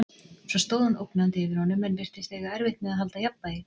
Svo stóð hann ógnandi yfir honum en virtist eiga erfitt með að halda jafnvægi.